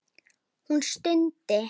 Hún stundi.